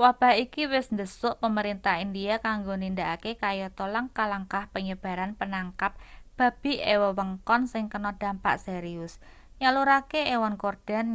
wabah iki wis ndhesuk pemerintah india kanggo nindakake kayata langkah-langkah penyebaran penangkap babi ing wewengkon sing kena dampak serius nyalurake ewon korden